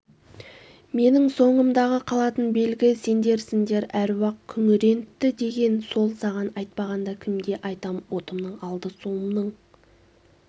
менің соңымдағы қалатын белгі сендерсіңдер аруақ күңірентті деген сол саған айтпағанда кімге айтам отымның алды суымның